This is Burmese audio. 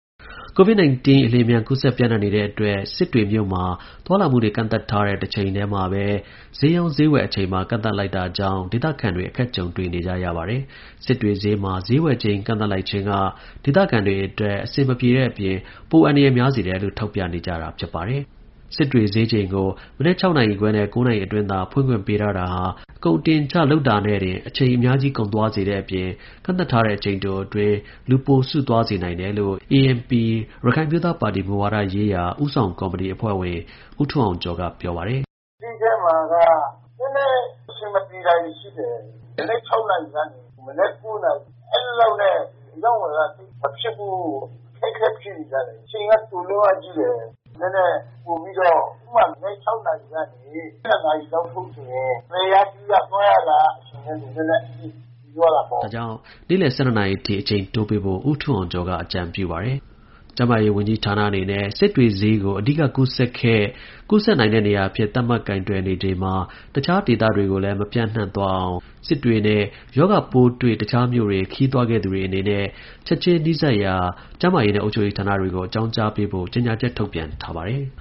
ကိုဗစ်-၁၉ အလျင်အမြန် ကူးစက် ပျံ့နှံ့နေတဲ့အတွက် စစ်တွေမြို့မှာ သွားလာမှုတွေ ကန့်သတ်ထားတဲ့ တချိန်ထဲမှာဘဲ ဈေးရောင်း ဈေးဝယ်အချိန်ပါ ကန့်သတ်လိုက်တာကြောင့် ဒေသခံတွေ အခက်ကြုံနေကြရပါတယ်။ စစ်တွေဈေးမှာ ဈေးဝယ်ချိန် ကန့်သတ်လိုက်ခြင်းက ဒေသခံတွေ အတွက် အဆင်မပြေတဲ့အပြင် ပိုအန္တရာယ်များစေတယ်လို့ ထောက်ပြနေကြတာပါ။ စစ်တွေဈေးချိန်ကို မနက် နာရီနဲ့ နာရီအတွင်း သာ ဖွင့်ခွင့် ပေးထားတာဟာ ကုန်အတင်အချနဲ့တင် အချိန်အများကြီးကုန်သွားစေတဲ့အပြင် ကန့်သတ်ထားတဲ့ အချိန်တိုတွင်း လူပိုစုသွားနိုင်တယ်လို့ ANP ရခိုင်အမျိုးသားပါတီ မူဝါဒရေးရာဦးဆောင်ကော်မတီအဖွဲ့ဝင် ဦးထွန်းအောင်ကျော်က ပြောပါတယ်။ “ဈေးထဲမှာက နည်းနည်းအဆင်မပြေတာတွေရှိတယ်။ မနက် နာရီနဲ့ မနက် နာရီ အဲလောက်နဲ့ အရောင်းအဝယ်က သိပ်မဖြစ်ဘူး ၊ ခက်ခဲနေကြတယ်။ အချိန်က တိုလွန်းအားကြီးတယ် နည်းနည်းပိုပြီးတော့ ဥပမာ-မနက် နာရီကနေ ၁၂ နာရီလောက်ဆိုရင် ဝယ်ရပြုရ၊သွားရလာရ တာက နည်းနည်းအဆင်ပြေသွားတာပေါ့။" ဒါကြောင့် နေ့လည် နာရီထိ အချိန်တိုးပေးဖို့ ဦးထွန်းအောင်ကျော်က အကြံပြုပါတယ်။ ကျန်းမာရေးဝန်ကြီးဌာနအနေနဲ့ စစ်တွေဈေးကို အဓိကကူးစက်ခဲ့၊ ဆက်ကူးစက်နိုင်တဲ့နေရာအဖြစ် သတ်မှတ်ကိုင်တွယ်နေချိန်မှာ၊ အခြားဒေသတွေကိုလည်း မပျံ့သွားရအောင်၊ စစ်တွေနဲ့ရောဂါပိုးတွေ့ အခြားမြို့တွေ ခရီးသွားခဲ့သူတွေအနေနဲ့ ချက်ချင်း နီးစပ်ရာကျန်းမာရေးနဲ့အုပ်ချုပ်ရေးဌာနတွေကို အကြောင်းကြားပေးဖို့ ကြေညာချက် ထုတ်ပြန်ထားပါတယ်